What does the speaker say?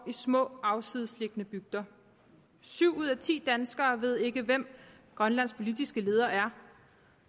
i små afsides liggende bygder syv ud af ti danskere ved ikke hvem grønlands politiske leder er